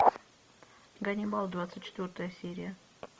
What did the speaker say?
ганнибал двадцать четвертая серия